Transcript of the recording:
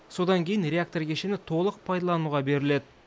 содан кейін реактор кешені толық пайдалануға беріледі